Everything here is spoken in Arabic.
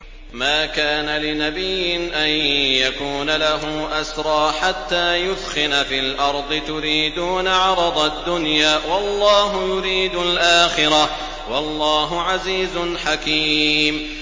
مَا كَانَ لِنَبِيٍّ أَن يَكُونَ لَهُ أَسْرَىٰ حَتَّىٰ يُثْخِنَ فِي الْأَرْضِ ۚ تُرِيدُونَ عَرَضَ الدُّنْيَا وَاللَّهُ يُرِيدُ الْآخِرَةَ ۗ وَاللَّهُ عَزِيزٌ حَكِيمٌ